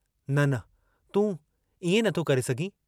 न... न... तूं... इएं न थो करे सघीं।